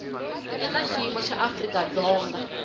eka xiyimo xa afrika dzonga